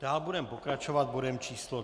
Dál budeme pokračovat bodem číslo